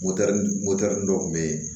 dɔw kun be yen